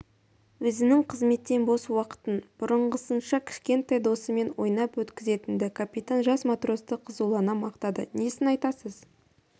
өзінің қызметтен бос уақытын бұрынғысынша кішкентай досымен ойнап өткізетін-ді капитан жас матросты қызулана мақтады несін айтасыз